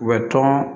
U bɛ tɔn